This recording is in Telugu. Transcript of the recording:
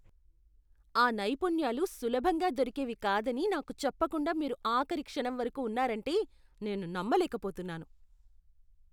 ఆ నైపుణ్యాలు సులభంగా దొరికేవి కాదని నాకు చెప్పకుండా మీరు ఆఖరి క్షణం వరకు ఉన్నారంటే నేను నమ్మలేకపోతున్నాను.